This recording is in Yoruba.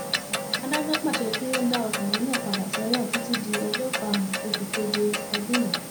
adájọ pàṣẹ kí wọn dá ọkùnrin náà padà sẹwọn títí di ọjọ karùnún oṣù keje ọdún yìí